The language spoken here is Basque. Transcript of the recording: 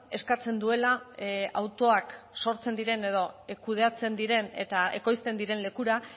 eskatzen duela autoak sortzen diren edo kudeatzen diren eta ekoizten diren lekura